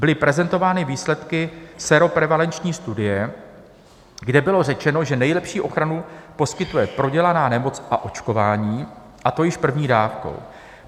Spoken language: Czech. Byly prezentovány výsledky séroprevalenční studie, kde bylo řečeno, že nejlepší ochranu poskytuje prodělaná nemoc a očkování, a to již první dávkou.